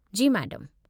जी मैडमु।